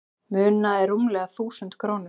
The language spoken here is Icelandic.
Munaði rúmlega þúsund krónum